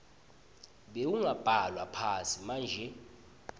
bewungabhalwa phansi manje